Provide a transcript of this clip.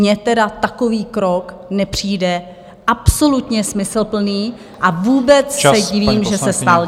Mně teda takový krok nepřijde absolutně smysluplný a vůbec se divím, že se stal.